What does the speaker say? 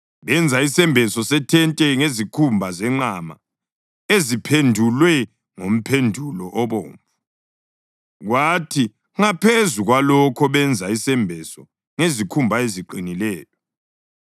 Benza isembeso sethente ngezikhumba zenqama eziphendulwe ngomphendulo obomvu, kwathi ngaphezu kwalokho benza isembeso ngezikhumba eziqinileyo.